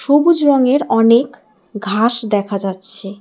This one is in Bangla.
সবুজ রঙের অনেক ঘাস দেখা যাচ্ছে।